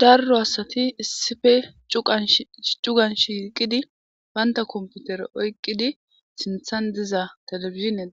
Darro asati issife cugansh yiqidi baynta komputere oykqidi sinthan diza telefizinen